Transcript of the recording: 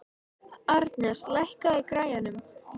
Arnes, lækkaðu í græjunum.